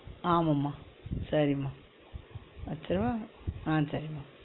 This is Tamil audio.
ஆமா மா சரிமா வச்சிரவா ஆஹ் சரிமா